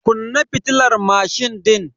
Kunna fitilar mashin din.